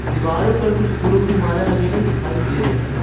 दीवारों पर कुछ फूलों की माला लगे हुए दिखाई दे रही हैं।